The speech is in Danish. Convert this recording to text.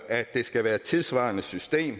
at det skal være et tidssvarende system